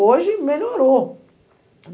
Hoje melhorou.